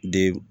De